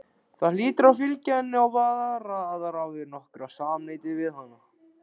Það hlýtur að fylgja henni og vara aðra við nokkru samneyti við hana.